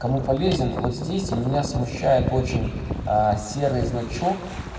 кому полезен вот здесь у меня смущает очень серый значок